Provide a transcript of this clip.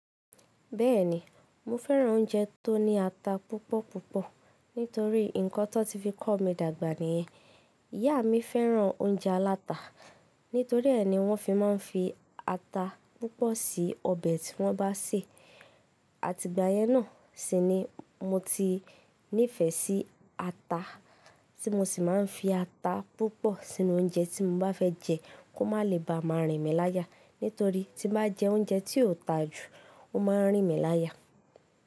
Bẹ́ẹ̀ni, mo fẹ́ràn oúnjẹ tó ní ata púpọ̀ púpọ̀ nítorí nǹkan tó n ti fi kọ́ mi dàgbà nìyẹn. Ìyá mi fẹ́ràn oúnjẹ aláta, nítorí ẹ ni wọ́n fi máa ń fi ata púpọ̀ sí ọbẹ̀ tí wọ́n bá sè. Àti ìgbà yẹn náà sí ni mo ti nífẹ̀ẹ́ sí ata, tí mo sì máa ń fi ata púpọ̀ sínú oúnjẹ tí mo bá fẹ́ jẹ kó má lè bá máa rìn mí láya. Nítorí tí n bá jẹ oúnjẹ tí kò ta jù, ó máa ń rìn mí láya.